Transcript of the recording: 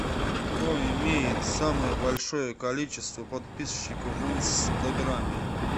кто имеет самое большое количество подписчиков в инстаграме